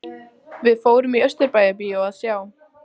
Við fórum í Austurbæjarbíó að sjá